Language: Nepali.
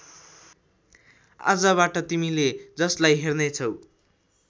आजबाट तिमीले जसलाई हेर्नेछौ